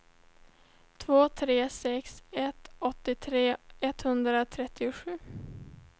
två tre sex ett åttiotre etthundratrettiosju